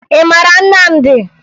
Ị mara Nnamdi?